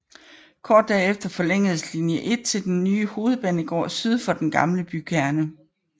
Kort derefter forlængedes linje 1 til den nye hovedbanegård syd for den gamle bykerne